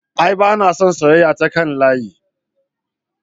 A'a bana son soyeyya ta kan layi